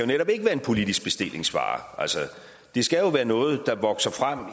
netop ikke være en politisk bestillingsvare altså det skal jo være noget der vokser frem